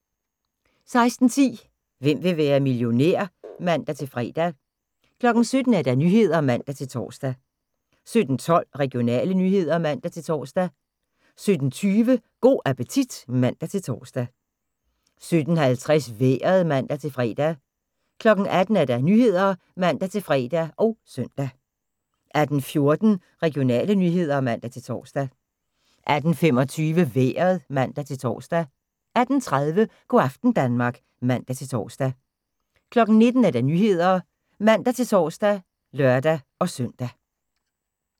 16:10: Hvem vil være millionær? (man-fre) 17:00: Nyhederne (man-tor) 17:12: Regionale nyheder (man-tor) 17:20: Go' appetit (man-tor) 17:50: Vejret (man-fre) 18:00: Nyhederne (man-fre og søn) 18:14: Regionale nyheder (man-tor) 18:25: Vejret (man-tor) 18:30: Go' aften Danmark (man-tor) 19:00: Nyhederne (man-tor og lør-søn)